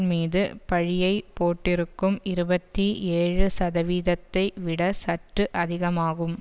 மீது பழியைபோட்டிருக்கும் இருபத்தி ஏழு சதவீதத்தை விட சற்று அதிகமாகும்